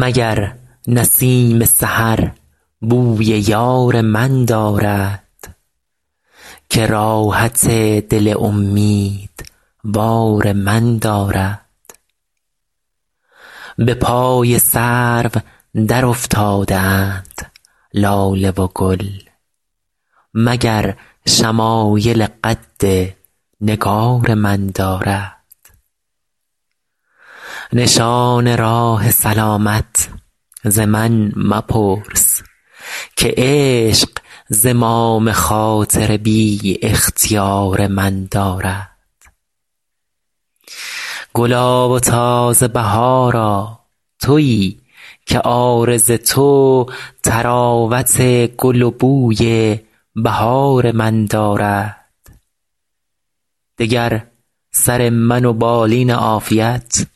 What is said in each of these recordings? مگر نسیم سحر بوی یار من دارد که راحت دل امیدوار من دارد به پای سرو درافتاده اند لاله و گل مگر شمایل قد نگار من دارد نشان راه سلامت ز من مپرس که عشق زمام خاطر بی اختیار من دارد گلا و تازه بهارا تویی که عارض تو طراوت گل و بوی بهار من دارد دگر سر من و بالین عافیت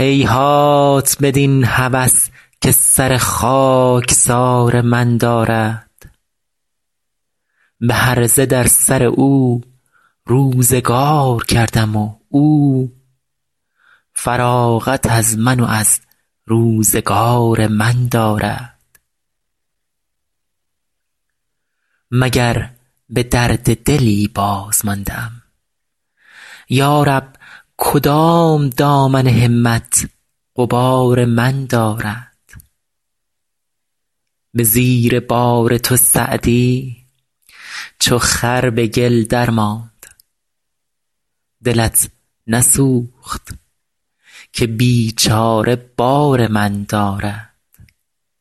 هیهات بدین هوس که سر خاکسار من دارد به هرزه در سر او روزگار کردم و او فراغت از من و از روزگار من دارد مگر به درد دلی بازمانده ام یا رب کدام دامن همت غبار من دارد به زیر بار تو سعدی چو خر به گل درماند دلت نسوخت که بیچاره بار من دارد